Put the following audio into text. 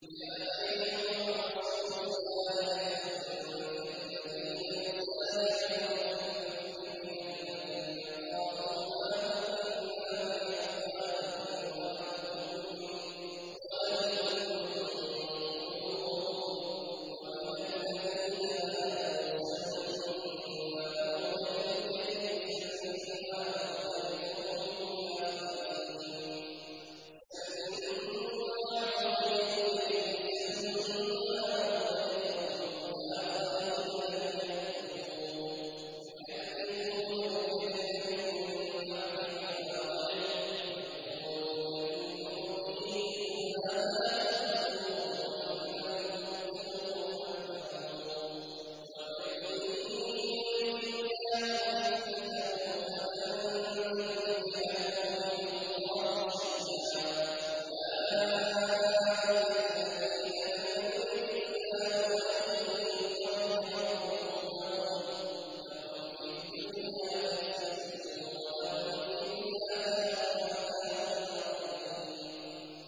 ۞ يَا أَيُّهَا الرَّسُولُ لَا يَحْزُنكَ الَّذِينَ يُسَارِعُونَ فِي الْكُفْرِ مِنَ الَّذِينَ قَالُوا آمَنَّا بِأَفْوَاهِهِمْ وَلَمْ تُؤْمِن قُلُوبُهُمْ ۛ وَمِنَ الَّذِينَ هَادُوا ۛ سَمَّاعُونَ لِلْكَذِبِ سَمَّاعُونَ لِقَوْمٍ آخَرِينَ لَمْ يَأْتُوكَ ۖ يُحَرِّفُونَ الْكَلِمَ مِن بَعْدِ مَوَاضِعِهِ ۖ يَقُولُونَ إِنْ أُوتِيتُمْ هَٰذَا فَخُذُوهُ وَإِن لَّمْ تُؤْتَوْهُ فَاحْذَرُوا ۚ وَمَن يُرِدِ اللَّهُ فِتْنَتَهُ فَلَن تَمْلِكَ لَهُ مِنَ اللَّهِ شَيْئًا ۚ أُولَٰئِكَ الَّذِينَ لَمْ يُرِدِ اللَّهُ أَن يُطَهِّرَ قُلُوبَهُمْ ۚ لَهُمْ فِي الدُّنْيَا خِزْيٌ ۖ وَلَهُمْ فِي الْآخِرَةِ عَذَابٌ عَظِيمٌ